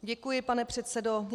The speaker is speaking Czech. Děkuji, pane předsedo.